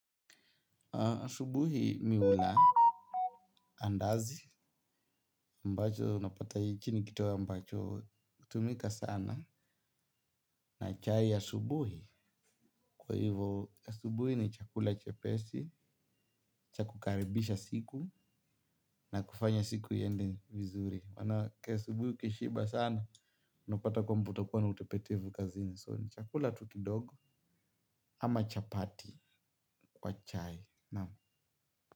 Asubuhi mimi hula andazi mbacho napata hiki ni kitoweo ambacho hutumika sana na chai asubuhi kwa hivo asubuhi ni chakula chepesi cha kukaribisha siku na kufanya siku iende vizuri maanake asubuhi ukishiba sana unapata kwamba utakuwa na utepetevu kazini so ni chakula tu kidogo ama chapati kwa chai naam.